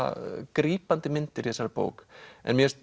grípandi myndir í þessari bók en mér finnst